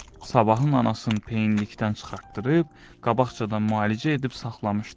Sabahın anasın peyinlikdən çıxartdırıb, qabaqcadan müalicə edib saxlamışdı.